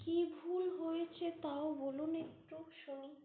কী ভুল হয়েছে তাও বলুন একটু শুনি।